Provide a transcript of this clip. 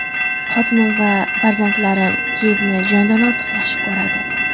Xotinim va farzandlarim Kiyevni jondan ortiq yaxshi ko‘radi.